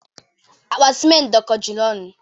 Akpa simentị dọkọjuru ọnụ.